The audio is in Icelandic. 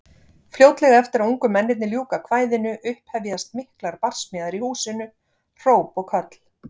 Fljótlega eftir að ungu mennirnir ljúka kvæðinu upphefjast miklar barsmíðar í húsinu, hróp og köll.